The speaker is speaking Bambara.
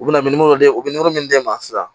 U bɛna u bɛ min d'e ma sisan